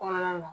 Kɔnɔna na